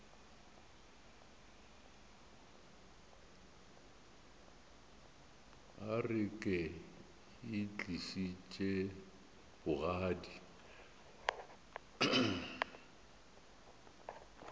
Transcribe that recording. a re ke itlišitše bogadi